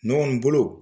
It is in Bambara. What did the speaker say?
Nɔgɔn bolo